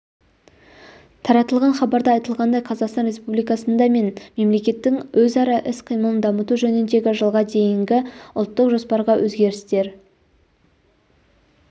таратылған хабарда айтылғандай қазақстан республикасында мен мемлекеттің өзара іс-қимылын дамыту жөніндегі жылға дейінгі ұлттық жоспарға өзгерістер